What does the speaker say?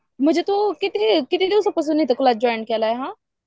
म्हणजे तू किती दिवसापासून क्लब जॉईन केलाय हा?